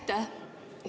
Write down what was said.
Aitäh!